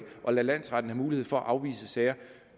at lade landsretten have mulighed for at afvise sager